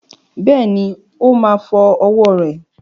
Bẹ́ẹ̀ni,o má fọ́ ọwọ́ rẹ̀